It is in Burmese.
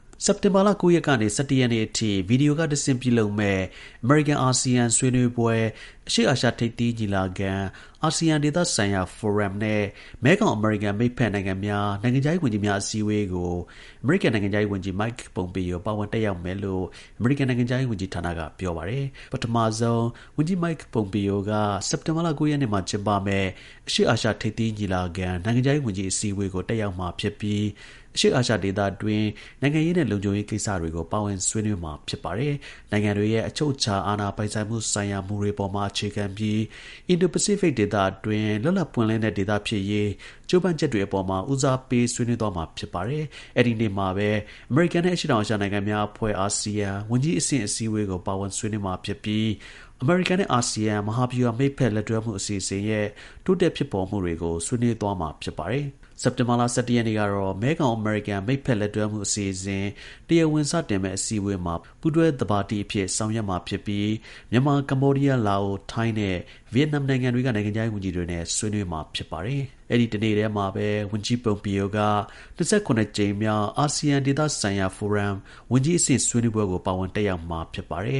စက်တင်ဘာလ ၉ ရက်ကနေ ၁၁ ရက်နေ့အထိ ဗီဒီယိုကတဆင့် ပြုလုပ်မယ့် အမေရိကန်-အာဆီယံ ဆွေးနွေးပွဲ၊ အရှေ့အာရှ ထိပ်သီး ညီလာခံ၊ အာဆီယံ ဒေသဆိုင်ရာ ဖိုရမ်နဲ့ မဲခေါင်-အမေရိကန် မိတ်ဖက်နိုင်ငံများ နိုင်ငံခြားရေး ဝန်ကြီးများ အစည်းအဝေးကို အမေရိကန် နိုင်ငံခြားရေး ဝန်ကြီး Mike Pompeo ပါဝင် တက်ရောက်မယ်လို့ အမေရိကန်နိုင်ငံခြားရေး ဝန်ကြီးဌာနက ပြောပါတယ်။ ပထမဆုံး ဝန်ကြီး Mike Pompeo က စက်တင်ဘာလ ၉ ရက်နေ့မှာ ကျင်းပမယ့် အရှေ့အာရှ ထိပ်သီး ညီလာခံ နိုင်ငံခြားရေး ဝန်ကြီး အစည်းအဝေးကို တက်ရောက်ပြီး အရှေ့ အာရှဒေသတွင်း နိုင်ငံရေးနဲ့ လုံခြုံရေး ကိစ္စတွေကို ပါဝင် ဆွေးနွေးမှာ ဖြစ်ပါတယ်။ နိုင်ငံတွေရဲ့ အချုပ်အခြာ အာဏာပိုင်ဆိုင်မှုဆိုင်ရာ မူတွေမှာ အခြေခံပြီး Indo-Pacific ဒေသအတွင်း လွတ်လပ်ပွင့်လင်းတဲ့ ဒေသ ဖြစ်ရေး ကြိုးပမ်းချက်တွေအပေါ်မှာ ဦးစားပေး ဆွေးနွေးသွားမှာ ဖြစ်ပါတယ်။ အဲဒီနေ့မှာပဲ အမေရိကန်နဲ့ အရှေ့တောင် အာရှ နိုင်ငံများအဖွဲ့ (အာဆီယံ) ဝန်ကြီးအဆင့် အစည်းအဝေးကို ပါဝင် ဆွေးနွေးမှာ ဖြစ်ပြီး အမေရိကန်နဲ့ အာဆီယံ မဟာဗျူဟာ မိတ်ဖက် လက်တွဲမှု အစီအစဉ်ရဲ့ တိုးတက်ဖြစ်ပေါ်မှုတွေကို ဆွေးနွေးမှာ ဖြစ်ပါတယ်။ စက်တင်ဘာလ ၁၁ ရက်နေ့မှာတော့ မဲခေါင်-အမေရိကန် မိတ်ဖက်လက်တွဲမှု အစီအစဉ် တရားဝင် စတင်မယ့် အစည်းအဝေးမှာ ပူးတွဲ သဘာပတိအဖြစ် ဆောင်ရွက်ပြီး မြန်မာ၊ ကမ္ဘောဒီးယား၊ လာအို၊ ထိုင်းနဲ့ ဗီယက်နမ် နိုင်ငံတွေက နိုင်ငံခြားရေးဝန်ကြီးတွေနဲ့ အတူ ဆွေးနွေးမှာ ဖြစ်ပါတယ်။ အဲဒီ တစ်နေ့တည်းမှာပဲ ဝန်ကြီး Pompeo က ၂၇ ကြိမ်မြောက် အာဆီယံ ဒေသဆိုင်ရာ ဖိုရမ် ဝန်ကြီးအဆင့် ဆွေးနွေးပွဲကို ပါဝင် တက်ရောက်မှာ ဖြစ်ပါတယ်